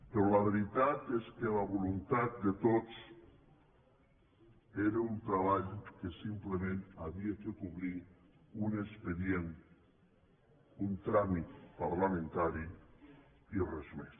però la veritat és que la voluntat de tots era un treball que simplement havia de cobrir un expedient un tràmit parlamentari i res més